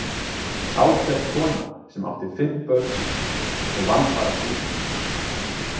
Ágæt kona sem átti fimm börn og vann bara heima.